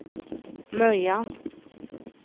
Möja